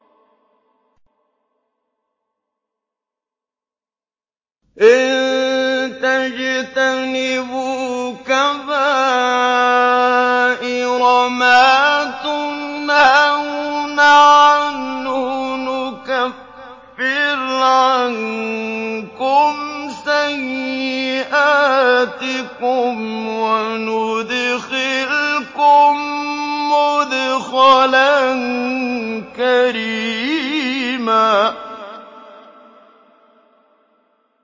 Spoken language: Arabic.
إِن تَجْتَنِبُوا كَبَائِرَ مَا تُنْهَوْنَ عَنْهُ نُكَفِّرْ عَنكُمْ سَيِّئَاتِكُمْ وَنُدْخِلْكُم مُّدْخَلًا كَرِيمًا